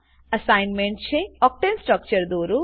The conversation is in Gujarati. અસાઇનમેન્ટ છે ઓક્ટેન ઓક્ટેન સ્ટ્રક્ચર દોરો